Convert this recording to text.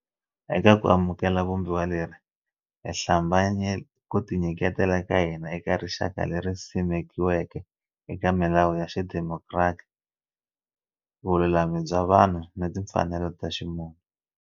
Eka ku amukela Vumbiwa leri, hi hlambanye ku tinyiketela ka hina eka rixaka leri simekiweke eka milawu ya xidemokiratiki, vululami bya vanhu ni timfanelo ta ximunhu.